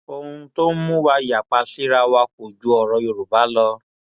ohun tó ń mú wa yapa síra wa kò ju ọrọ yorùbá lọ